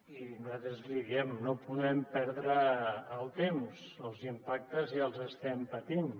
i nosaltres li diem no podem perdre el temps els impactes ja els estem patint